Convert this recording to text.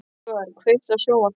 Úlfar, kveiktu á sjónvarpinu.